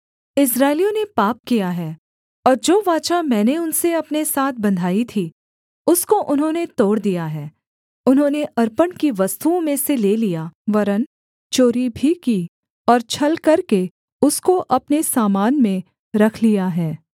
इस्राएलियों ने पाप किया है और जो वाचा मैंने उनसे अपने साथ बँधाई थी उसको उन्होंने तोड़ दिया है उन्होंने अर्पण की वस्तुओं में से ले लिया वरन् चोरी भी की और छल करके उसको अपने सामान में रख लिया है